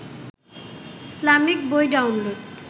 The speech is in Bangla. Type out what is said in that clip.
ইসলামিক বই ডাউনলোড